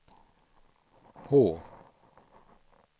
H